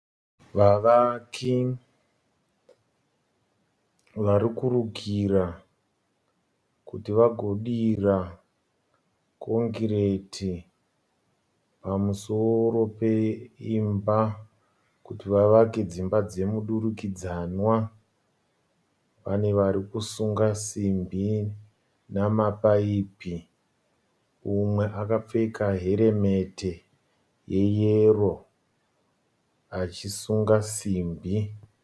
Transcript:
Vavaki varikurukira kuti vagodira kongireti pamusoro peimba kuti vavake dzimba dzemudurikidzanwa. Pane varikusunga simbi namapaipi. Umwe akapfeka heremeti yeyero achisunga simbi.